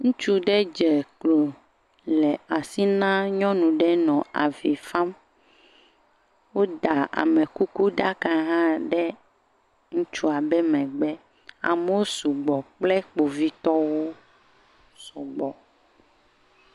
Ŋutsu ɖe dze klo nɔ asi na nyɔnu ɖe nɔ avi fam. Woda amekukuɖaka ɖe ŋutsua be megbe. Amewo sugbɔ kpe Kpovitɔwo sɔgbɔ.